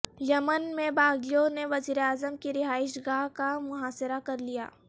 یمن میں باغیوں نے وزیراعظم کی رہائش گاہ کا محاصرہ کر لیا